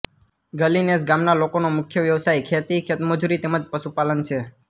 ગલી નેસ ગામના લોકોનો મુખ્ય વ્યવસાય ખેતી ખેતમજૂરી તેમ જ પશુપાલન છે